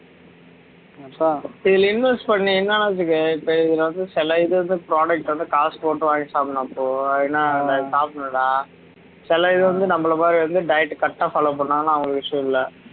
இதுல invest பண்ணா என்ன ஆகுது இப்ப இதுல வந்து சில இது வந்து product வந்து காசு போட்டு வாங்கி சாப்பிடணும் அப்போ ஏன்னா அத சாப்பிடணுன்டா சில இது வந்து நம்மள மாறி வந்து diet correct ஆ follow பண்ணினாங்கன்னா அவங்களுக்கு issue இல்ல